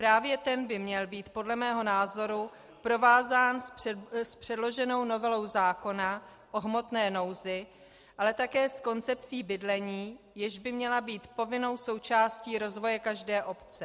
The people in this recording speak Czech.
Právě ten by měl být podle mého názoru provázán s předloženou novelou zákona o hmotné nouzi, ale také s koncepcí bydlení, jež by měla být povinnou součástí rozvoje každé obce.